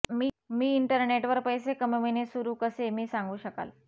मी internet वर पैसे कमविणे सुरू कसे मी सांगू शकाल